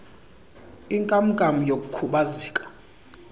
inkam nkam yokukhubazeka